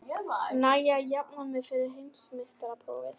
Næ ég að jafna mig fyrir heimsmeistaramótið?